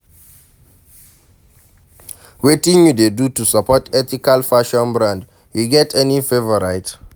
Wetin you dey do to support ethical fashion brand, you get any favorite?